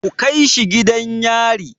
Ku kai shi gidan yari!